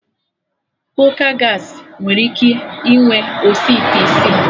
Kooka Gaasị nwere ike inwe osi ite isii